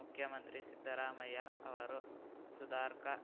ಮುಖ್ಯಮಂತ್ರಿ ಸಿದ್ದರಾಮಯ್ಯ ಅವರು ಸುಧಾರ್ಕಾ